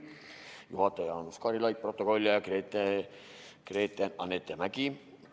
Juhataja oli Jaanus Karilaid, protokollija Gretchen-Annette Mägi.